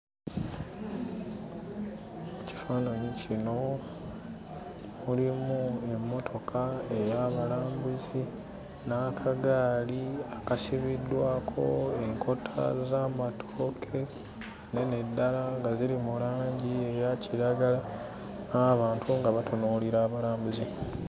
Kifaananyi kino mulimu emmotoka ey'abalambuzi n'akagaali akasibiddwako enkota z'amatooke nnene ddala nga ziri mu langi eya kiragala n'abantu nga batunuulira abalambuzi.